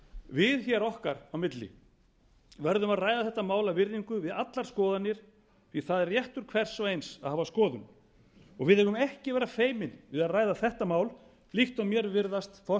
við hér okkar á milli verðum að ræða þetta mál af virðingu við allar skoðanir því það er réttur hvers og eins að hafa komu við eigum ekki að vera feimin við að ræða þetta mál líkt og mér virðast